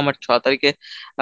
আমার ছ তারিখে